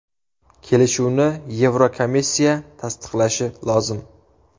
Kelishuvni Yevrokomissiya tasdiqlashi lozim.